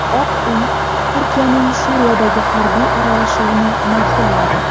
Oq uy Turkiyaning Suriyadagi harbiy aralashuvini ma’qulladi.